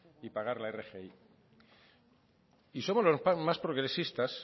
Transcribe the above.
y pagar la rgi y somos los más progresistas